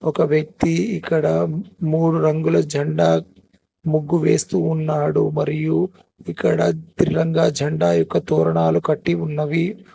ఒక వ్యక్తి ఇక్కడ మూడు రంగుల జండా ముగ్గు వేస్తూ ఉన్నాడు మరియు ఇక్కడ తిరంగా జెండా యొక్క తోరణాలు కట్టి ఉన్నవి.